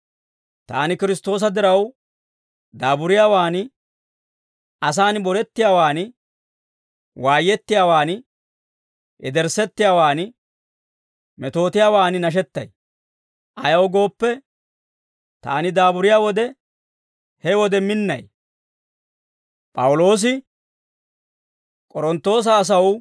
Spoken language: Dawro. Taani Kiristtoosa diraw daaburiyaawaan, asaan borettiyaawan, waayettiyaawaan, yederssettiyaawaan, metootiyaawan nashettay; ayaw gooppe, taani daaburiyaa wode, he wode minnay.